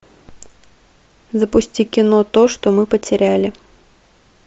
запусти кино то что мы потеряли